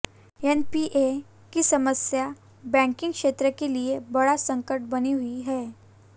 NPA की समस्या banking क्षेत्र के लिए बड़ा संकट बनी हुई है